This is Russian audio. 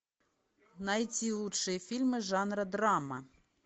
найти лучшие фильмы жанра драма